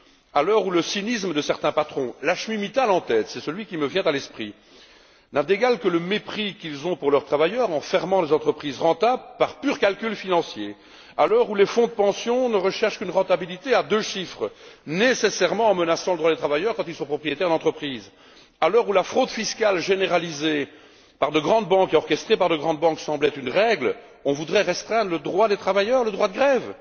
À l'heure où le cynisme de certains patrons, Lakshmi Mittal en tête c'est celui qui me vient à l'esprit n'a d'égal que le mépris qu'ils manifestent envers leurs travailleurs en fermant les entreprises rentables par pur calcul financier, où les fonds de pension ne recherchent qu'une rentabilité à deux chiffres, nécessairement en menaçant les droits des travailleurs quand ils sont propriétaires de l'entreprise, où la fraude fiscale généralisée et orchestrée par de grandes banques semble être une règle, on voudrait restreindre le droit des travailleurs, le droit de grève?